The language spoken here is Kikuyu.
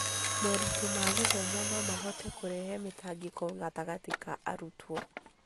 moritũ ma gĩthomo no mahote kũrehe mĩtangĩko gatagatĩ ka arutwo.